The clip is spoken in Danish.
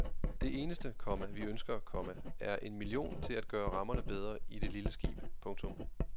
Det eneste, komma vi ønsker, komma er en million til at gøre rammerne bedre i det lille skib. punktum